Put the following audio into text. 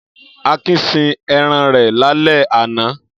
Akin sin ẹran rẹ̀ lálẹ́ àná.